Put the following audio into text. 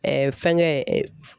fɛngɛ